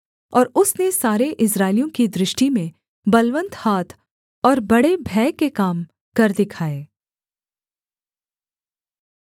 और उसने सारे इस्राएलियों की दृष्टि में बलवन्त हाथ और बड़े भय के काम कर दिखाए